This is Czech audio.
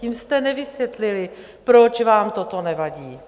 Tím jste nevysvětlili, proč vám toto nevadí.